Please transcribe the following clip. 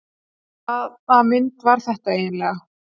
Hvaða mynd var þetta eiginlega?